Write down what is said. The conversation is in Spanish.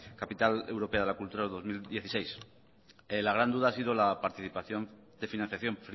capital europea de la cultura dos mil dieciséis la gran duda ha sido la participación de financiación